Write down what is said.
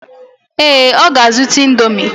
ee, ọ ga-azụta Indomi.